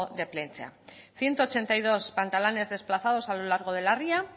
de plentzia ciento ochenta y dos pantalanes desplazados a lo largo de la ría